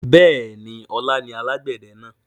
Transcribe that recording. Bẹ́ẹ̀ni, ọlá ni alàgbẹ̀dẹ náà.